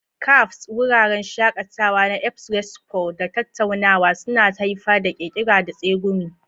Cafes, wuraren shakatawa na espresso da tattaunawa, suna haifar da ƙirƙira da tsegumi.